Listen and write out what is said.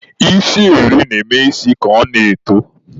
Isi eri na-eme isi ka ọ na-eto.